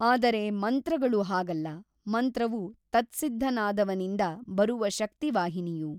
ಆದರೆ ಮಂತ್ರಗಳು ಹಾಗಲ್ಲ ಮಂತ್ರವು ತತ್ಸಿದ್ಧನಾದವನಿಂದ ಬರುವ ಶಕ್ತಿವಾಹಿನಿಯು.